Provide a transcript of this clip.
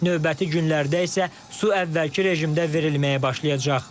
Növbəti günlərdə isə su əvvəlki rejimdə verilməyə başlayacaq.